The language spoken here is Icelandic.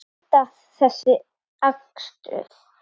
Hvar endar þessi akstur?